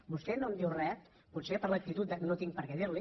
vostè no em diu res potser per l’actitud de no tinc per què dir li